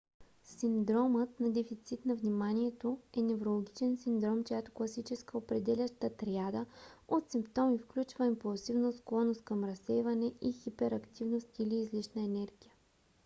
синдромът на дефицит на вниманието е неврологичен синдром чиято класическа определяща триада от симптоми включва импулсивност склонност към разсейване и хиперактивност или излишна енергия